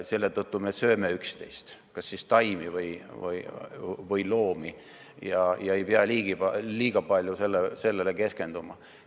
Selle tõttu me sööme üksteist, kas siis taimi või loomi, ja ei pea liiga palju sellele keskenduma.